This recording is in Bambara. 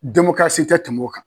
Demokarasi tɛ tɛmɛ o kan.